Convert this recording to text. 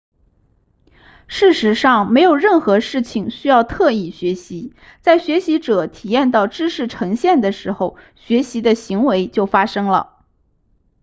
事实上没有任何事情需要特意学习在学习者体验到知识呈现的时候学习的行为就发生了